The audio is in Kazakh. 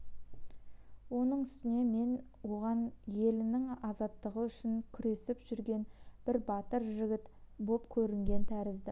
оның үстіне мен оған елінің азаттығы үшін күресіп жүрген бір батыр жігіт боп көрінген тәріздімін